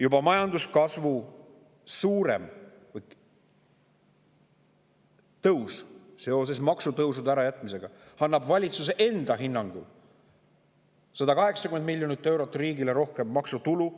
Juba suurem majanduskasv seoses maksutõusude ärajätmisega annaks valitsuse enda hinnangul riigile 180 miljonit eurot rohkem maksutulu.